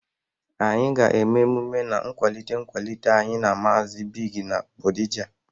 Anyị ga-eme mmemme na nkwalite nkwalite anyị na Maazị Bigg na Gbodija